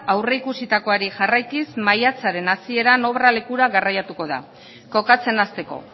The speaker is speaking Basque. aurreikusitakoari jarraikiz maiatzaren hasieran obra lekura garraiatuko da kokatzen hasteko